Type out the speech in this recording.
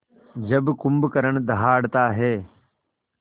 जब कुंभकर्ण दहाड़ता है